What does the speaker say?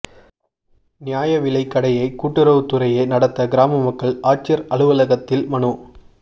நியாய விலை கடையை கூட்டுறவு துறையே நடத்த கிராம மக்கள் ஆட்சியா் அலுவலகத்தில் மனு